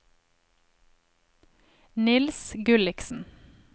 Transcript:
Niels Gulliksen